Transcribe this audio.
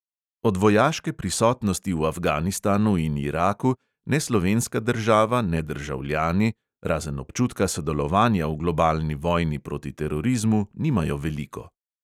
Od vojaške prisotnosti v afganistanu in iraku ne slovenska država ne državljani, razen občutka sodelovanja v globalni vojni proti terorizmu, nimajo veliko.